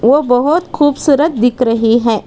वो बहुत खूबसूरत दिख रही है।